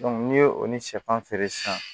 n'i ye o ni sɛfan feere sisan